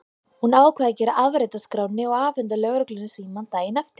Hún ákvað að gera afrit af skránni og afhenda lögreglunni símann daginn eftir.